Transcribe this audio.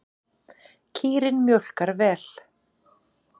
Kýrin mjólkar vel.